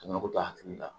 Banako ta hakili la